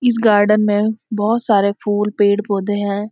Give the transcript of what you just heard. इस गार्डन में बहुत सारे फूल पेड़-पौधे हैं।